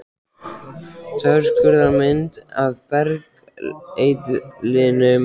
Þverskurðarmynd af bergeitlinum Sandfelli í Fáskrúðsfirði.